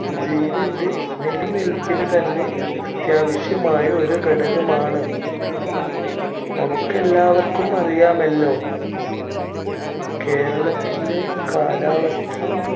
ജീവന്‍റെ നിലനിൽപ്പിന് തന്നെ അത്യാവശ്യമായ ഒരു ഘടകമാണ്. നമുക്ക് എല്ലാവർക്കും അറിയാമല്ലോ കേരളത്തിന്‍റെ കാലാവസ്ഥ